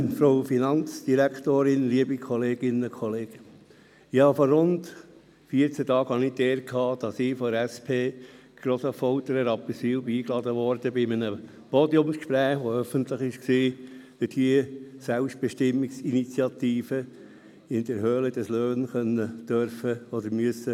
Vor rund vierzehn Tagen hatte ich die Ehre, von der SP GrossaffolternRapperswil – in der Höhle des Löwen – eingeladen zu sein, um bei einem öffentlichen Podiumsgespräch die Selbstbestimmungsinitiative vertreten beziehungsweise vorstellen zu können, dürfen oder müssen.